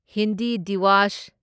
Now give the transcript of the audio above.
Hindi Diwas